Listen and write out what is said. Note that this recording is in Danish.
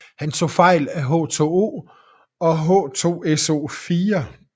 Han tog fejl af H2O og H2SO4